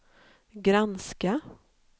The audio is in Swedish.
granska